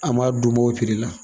An m'a d'u o la.